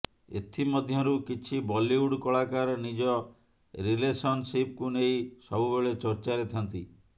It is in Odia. ଏଥି ମଧ୍ୟରୁ କିଛି ବଲିଉଡ କଳାକାର ନିଜ ରିଲେସନଶିପକୁ ନେଇ ସବୁବେଳେ ଚର୍ଚ୍ଚାରେ ଥାନ୍ତି